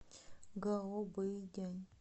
гаобэйдянь